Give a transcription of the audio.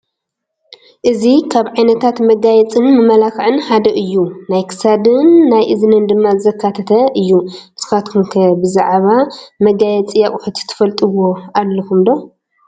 እዚ ካብ ዓይነታት መጋየፅን መመላኽዕን ሓደ እዩ፡፡ ናይ ክሳድን ናይ እዝንን ድማ ዘካተተ እዩ፡፡ ንስኻትኩም ከ ብዛዕባ መጋየፂ ኣቕሑት ትፈልጥዎ ኣለኩም ዶ?